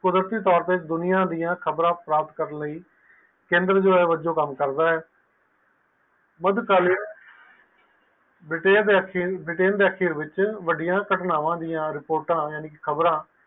ਦੁਨੀਆਂ ਦੀਆ ਖ਼ਬਰ ਪ੍ਰਾਪਤ ਕਰਨ ਲਈ ਕੇਂਦਰ ਵਲੋਂ ਕਾਮ ਕਰਦਾ ਹੈ ਬ੍ਰਿਟੇਨ ਦੇ ਅਖੀਰ ਵਿਚ ਵੱਡੀਆਂ ਕਤਨਾਵਾ ਤੇ ਰਿਪੋਰਟਾਂ